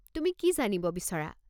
তুমি কি জানিব বিচৰা?